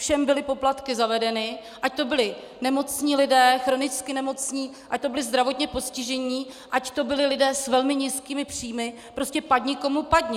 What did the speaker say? Všem byly poplatky zavedeny, ať to byli nemocní lidé, chronicky nemocní, ať to byli zdravotně postižení, ať to byli lidé s velmi nízkými příjmy, prostě padni komu padni.